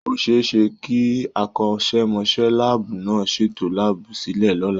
Ó ṣẹ é ṣe kí akọ́ṣẹ́mọṣẹ́ láàbù náà ṣètò láàbù sílẹ̀ lọ́la.